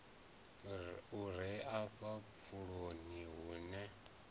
u re afha pfuloni hune